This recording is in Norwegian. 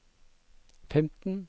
femten